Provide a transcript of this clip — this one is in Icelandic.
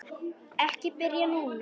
Ekki spyrja núna!